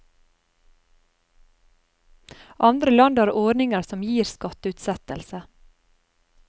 Andre land har ordninger som gir skatteutsettelse.